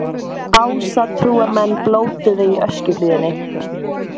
Ásatrúarmenn blótuðu í Öskjuhlíðinni